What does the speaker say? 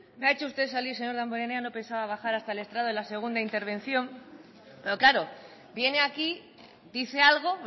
me ha hecho usted salir señor damborenea no pensaba bajar hasta el estrado en la segunda intervención pero claro viene aquí dice algo